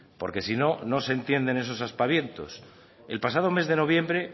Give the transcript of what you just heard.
porque si no no se entienden esos aspavientos el pasado mes de noviembre